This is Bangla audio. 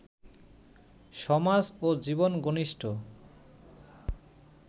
সমাজ ও জীবনঘনিষ্ঠ